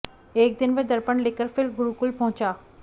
एक दिन वह दर्पण लेकर फिर गुरुकुल पहुंचा